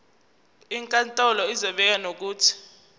inkantolo izobeka nokuthi